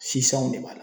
Si sanw de b'a la